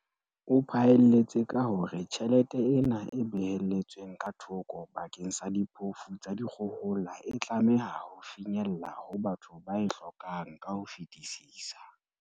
O phaelletse ka hore tjhelete ena e behelletsweng ka thoko bakeng sa diphofu tsa dikgohola e tlameha ho finyella ho batho ba e hlokang ka ho fetisisa.